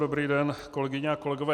Dobrý den, kolegyně a kolegové.